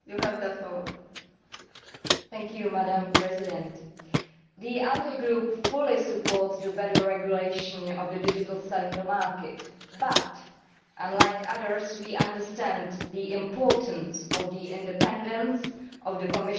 Madam President, the ALDE Group fully supports the better regulation of the digital single market but, unlike others, we understand the importance of the independence of the Commissioner for Competition as well.